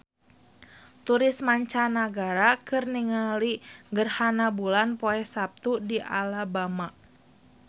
Turis mancanagara keur ningali gerhana bulan poe Saptu di Alabama